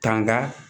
Tanga